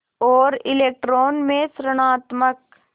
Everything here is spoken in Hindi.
और इलेक्ट्रॉन में ॠणात्मक